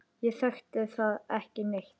Ég þekki þá ekki neitt.